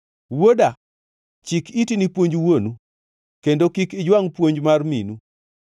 Wuoda, chik iti ni puonj wuonu, kendo kik ijwangʼ puonj mar minu.